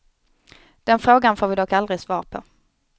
Den frågan får vi dock aldrig svar på.